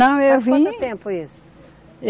Não, eu vim... Faz quanto tempo isso?